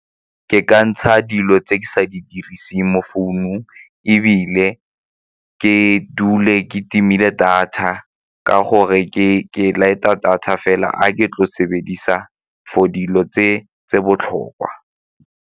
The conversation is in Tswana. Ke ka ntsha dilo tse di sa di diriseng mo founung ebile ke dule ke timile data ka gore ke light-a data fela ga ke tlo sebedisa for dilo tse botlhokwa.